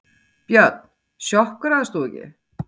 Björn: Sjokkeraðist þú ekki?